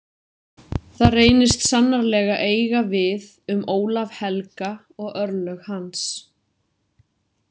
Það reynist sannarlega eiga við um Ólaf helga og örlög hans.